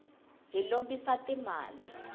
hi lombisa ti mali